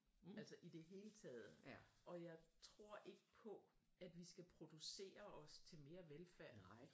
Altså i det hele taget og jeg tror ikke på at vi skal producere os til mere velfærd